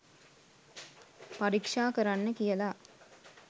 පරීක්ෂා කරන්න කියලා